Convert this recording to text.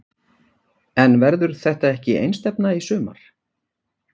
En verður þetta ekki einstefna í sumar?